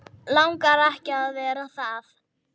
Langar ekki að vera það.